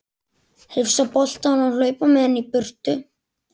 Hrifsa boltann og hlaupa með hann í burtu.